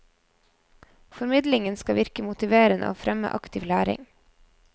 Formidlingen skal virke motiverende og fremme aktiv læring.